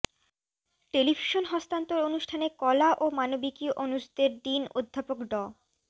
television হস্তান্তর অনুষ্ঠানে কলা ও মানবিকী অনুষদের ডীন অধ্যাপক ড